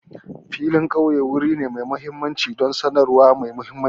Filin ƙauye wuri ne mai mahimmanci don sanarwa mai mahimmanci.